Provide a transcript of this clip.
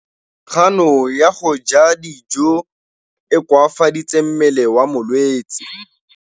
Kganô ya go ja dijo e koafaditse mmele wa molwetse.